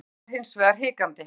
Hildur var hins vegar hikandi.